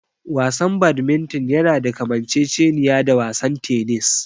Wasan Badminton yana da kamanceceniya da wasan tennis.